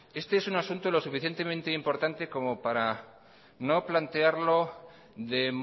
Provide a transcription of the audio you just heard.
este es un asunto lo suficientemente importante como para no plantearlo de